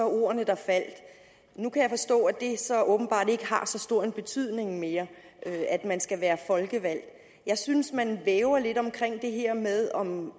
ordene der faldt nu kan jeg forstå at det så åbenbart ikke har så stor en betydning mere at man skal være folkevalgt jeg synes man væver lidt omkring det her med om